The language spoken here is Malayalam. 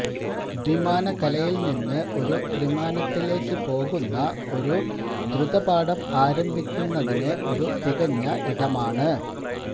ദ്വിമാനകലയിൽ നിന്ന് ഒരു ത്രിമാനത്തിലേക്ക് പോകുന്ന ഒരു ദ്രുത പാഠം ആരംഭിക്കുന്നതിന് ഒരു തികഞ്ഞ ഇടമാണ്